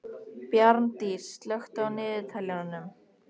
Bjarndís, slökktu á niðurteljaranum.